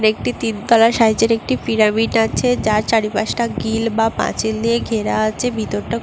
একটি তিন তলা সাইজের একটি পিরামিড আছে যার চারিপাশটা গিল বা পাঁচিল দিয়ে ঘেরা আছে। ভিতরটা খুব --